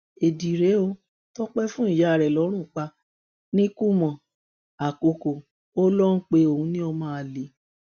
éèdì rèé ó tọpẹ fún ìyá rẹ lọrun pa nìkùmọ àkókò ó lọ pé òun lọmọ àlè